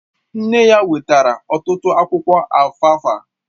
Nne ya wetara ọtụtụ akwụkwọ alfalfa